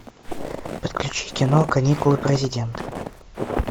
подключи кино каникулы президента